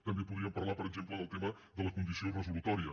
també podríem parlar per exemple del tema de la condició resolutòria